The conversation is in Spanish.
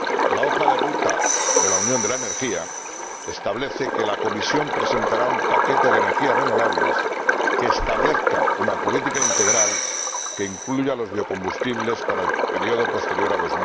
La hoja de ruta de la unión de la energía establece que la Comisión presentará un paquete de energías renovables que establezca una política integral que incluya los biocombustibles para el periodo posterior a